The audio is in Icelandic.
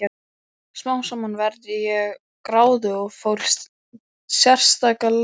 Smám saman varð ég gráðug og fór í sérstaka leiðangra.